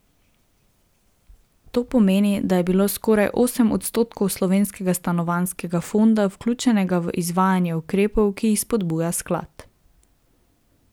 To pomeni, da je bilo skoraj osem odstotkov slovenskega stanovanjskega fonda vključenega v izvajanje ukrepov, ki jih spodbuja sklad.